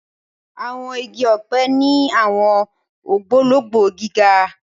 Àwọn igi ọpẹ ni awọn ogbologbo gíga.